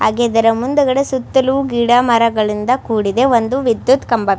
ಹಾಗೆ ಇದರ ಮುಂದುಗಡೆ ಸುತ್ತಲು ಗಿಡ ಮರಗಳಿಂದ ಕೂಡಿದೆ ಒಂದು ವಿದ್ಯತ್ ಕಂಬ --